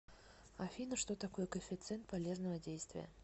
афина что такое коэффициент полезного действия